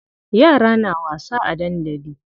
Yara na wasa a dandali.